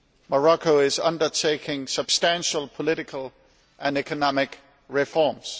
Morocco is undertaking substantial political and economic reforms.